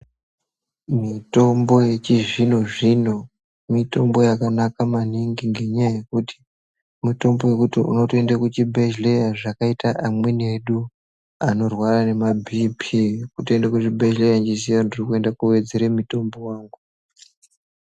Mitombo yechizvino zvino, mitombo yakanaka maningi ngenyaya yekuti mitombo yekuti unotoyenda kuchibhedhleya zvakaita amweni edu anorwarwa ngemabhiphi. Kutoyenda kuzvibhedhlera ndirikutoziya kuti ndikuyenda kundowedzera mitombo wako.